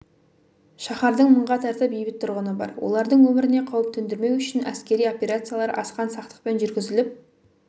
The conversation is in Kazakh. шаһардың мыңға тарта бейбіт тұрғыны бар олардың өміріне қауіп төндірмеу үшін әскери операциялар асқан сақтықпен жүргізіліп